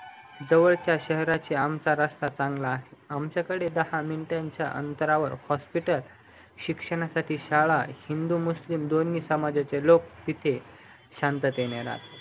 जवळच्या शहरपेक्षा आमचा रास्ता चांगला आहे आमच्याकडे दहा मिनिटांचा अंतरावर hospital शिक्षणासाठी शाळा हिंदू मुस्लिम दोन्ही समाजाचे लोक तिथे शांततेने राहतात